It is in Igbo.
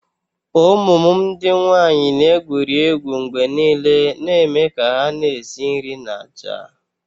Ụmụ m ndị nwanyị na-egwuri egwu mgbe niile na-eme ka hà na-esi nri na ájá